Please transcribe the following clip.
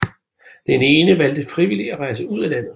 Den ene valgte frivilligt at rejse ud af landet